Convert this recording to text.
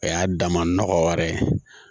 O y'a dama nɔgɔ wɛrɛ ye